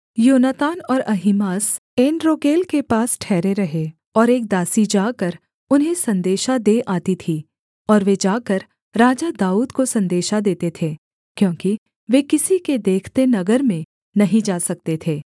योनातान और अहीमास एनरोगेल के पास ठहरे रहे और एक दासी जाकर उन्हें सन्देशा दे आती थी और वे जाकर राजा दाऊद को सन्देशा देते थे क्योंकि वे किसी के देखते नगर में नहीं जा सकते थे